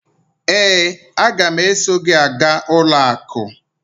ee, a ga m eso gị gaa ụlọ akụ